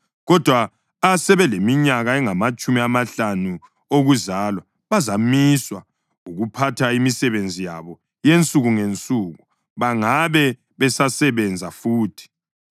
kodwa asebeleminyaka engamatshumi amahlanu okuzalwa bazamiswa ukuphatha imisebenzi yabo yensuku ngensuku bangabe besasebenza futhi.